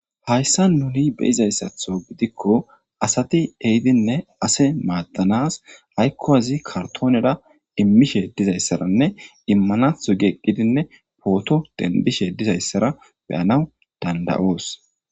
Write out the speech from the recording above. hayssa nuni beizayssatho gidikko asati ehidinne ase maaddanas haykko hazi kartoonera immishe dizayssaranne immanatho gieqqidinne pooto denbishe dizayssara beyanaw danda7oos